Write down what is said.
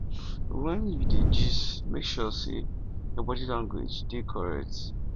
when you dey gist make sure say your body language dey correct